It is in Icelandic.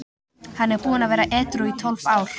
Hann er búinn að vera edrú í tólf ár.